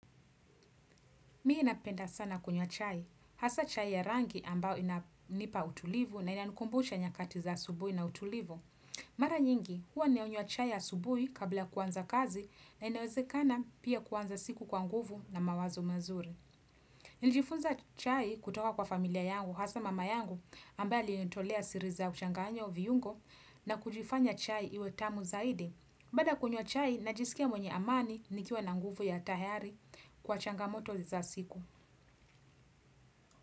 Mi napenda sana kunywa chai. Hasa chai ya rangi ambao inanipa utulivu na inanukumbusha nyakati za asusubuhi na utulivu. Mara nyingi, huwa nanywa chai ya subui kabla kuanza kazi na inaweze kana pia kuwanza siku kwa nguvu na mawazo mazuri. Nilijifunza chai kutoka kwa familia yangu, hasa mama yangu ambaye alinitolea siri za uchanganyo viungo na kuifanya chai iwe tamu zaidi. Baada kunywa chai, najisikia mwenye amani nikiwa na nguvu ya tayari kwa changamoto za siku.